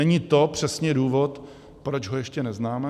Není to přesně důvod, proč ho ještě neznáme?